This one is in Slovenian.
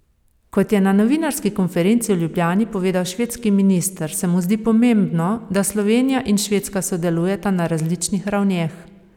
Kot je na novinarski konferenci v Ljubljani povedal švedski minister, se mu zdi pomembno, da Slovenija in Švedska sodelujeta na različnih ravneh.